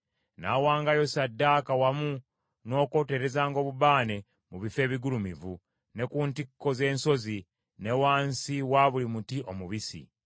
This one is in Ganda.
N’awangayo ssaddaaka wamu n’okwoterezanga obubaane mu bifo ebigulumivu, ne ku ntikko z’ensozi, ne wansi wa buli muti omubisi.